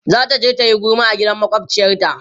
zataje tayi gulma a gidan makwafciyar ta